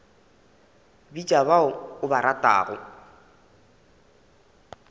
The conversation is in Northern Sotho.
bitša ba o ba ratago